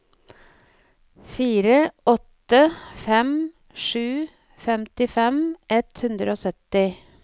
fire åtte fem sju femtifem ett hundre og sytti